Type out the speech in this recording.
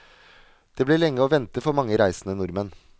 Det ble lenge å vente for mange reisende nordmenn.